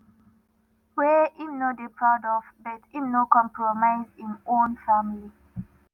wey im no dey proud of but im no compromise im own family.